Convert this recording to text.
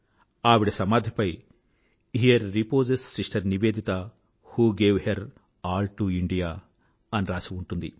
ఆవిడ సమాధిపై here reposes sister Nivedita who gave her all to India అని రాసి ఉంటుంది